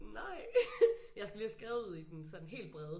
Nej jeg skal lige have skrevet ud i den sådan helt brede